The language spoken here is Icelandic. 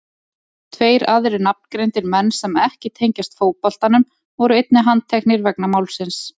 Tveir aðrir nafngreindir menn sem ekki tengjast fótboltanum voru einnig handteknir vegna málsins.